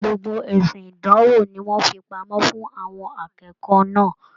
Gbogbo esi ìdánwò ní wọn fí pamọ́ fún àwọn akẹ́kọ̀ọ́ náà.